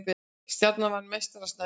Stjarnan vann meistara Snæfells